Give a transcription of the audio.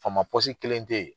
Faama kelen tɛ ye.